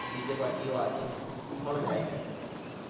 DJparty ও আছে খুব ভালো জায়গা এটা।